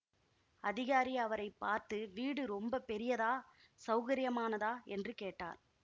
அதிகாரி அவரை பார்த்து வீடு ரொம்ப பெரியதா சௌகரியமானதா என்று கேட்டார்